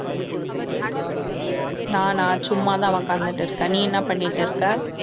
நானா சும்மாதான் உட்கார்ந்துட்டு இருக்கேன் நீ என்ன பண்ணிட்டு இருக்க